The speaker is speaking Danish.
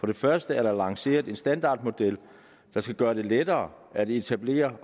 det første er der lanceret en standardmodel der skal gøre det lettere at etablere